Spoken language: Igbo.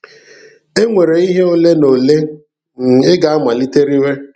E nwere ihe ole na ole um ị ga-amalite rewe.